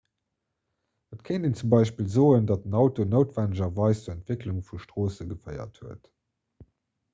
et kéint een zum beispill soen datt den auto noutwennegerweis zur entwécklung vu stroosse geféiert huet